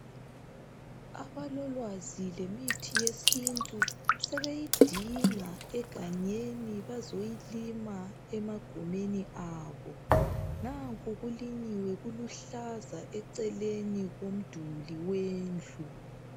Abalolwazi lemithi yesintu bezoyilima emagumeni abo. Nanku kulinyiwe liluhlaza eceleni komduli sendlu.